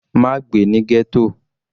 Má gbé ní ghetto.